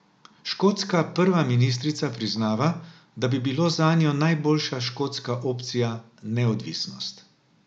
Škotska prva ministrica priznava, da bi bilo zanjo najboljša škotska opcija neodvisnost.